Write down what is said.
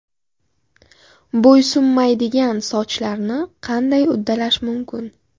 Bo‘ysunmaydigan sochlarni qanday uddalash mumkin?.